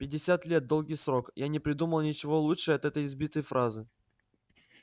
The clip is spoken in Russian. пятьдесят лет долгий срок я не придумал ничего лучше от этой избитой фразы